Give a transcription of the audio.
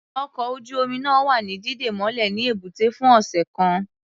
Ọkọ̀ ojú-omi náà wa ní dídè mọ́lẹ̀ ní ẹ̀bútẹ́ fún ọ̀sẹ̀ kan.